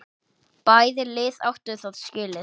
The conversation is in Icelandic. Bæði lið áttu það skilið.